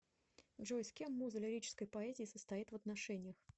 джой с кем муза лирической поэзии состоит в отношениях